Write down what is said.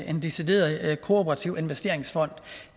en decideret kooperativ investeringsfond